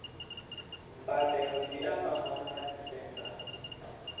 mbadelo dzi a fhambana nga dzisenthara